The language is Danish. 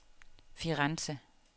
Firenze